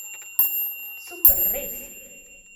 Super, res!